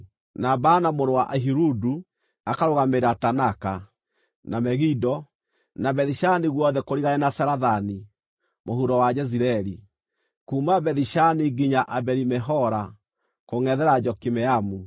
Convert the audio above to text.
na Baana mũrũ wa Ahiludu akarũgamĩrĩra Taanaka, na Megido, na Bethi-Shani guothe kũrigania na Zarethani mũhuro wa Jezireeli, kuuma Bethi-Shani nginya Abeli-Mehola kũngʼethera Jokimeamu;